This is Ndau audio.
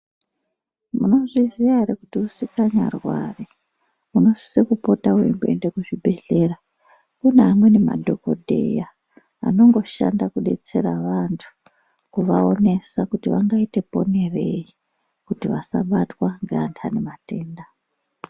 Munozviziya ere kuti usikanyarwari unosise kupota weimboenda kuzvebhehlera. Kune amweni madhokodheya anongoshanda kubetsera vantu kuvaonesa kuti vangaite ponerei kuti vasabatwa ngeantu ane matenda.